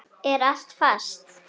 Er allt fast?